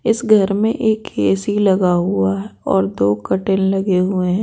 इस घर में एक ए-सी लगा हुआ है और दो कटेल लगे हुए हैं।